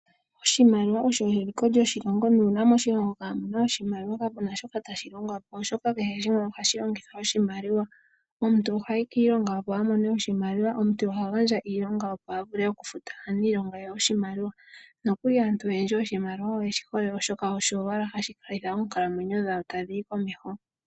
Oshimaliwa osho eliko lyoshilongo nuuna moshilongo kamu na oshimaliwa kapu na shoka tashi longwa po oshoka kehe shimwe ohashi longitha oshimaliwa. Omuntu ohayi kiilonga, opo a mone oshimaliwa. Omuntu oha gandja iilonga, opo a vule okufuta aanilonga yawo oshimaliwa. nokuli aantu oyendji oshimaliwa oyeshi hole, oshoka osho owala hashi kaleke oonkalamwenyo dhawo tadhi yi komeho.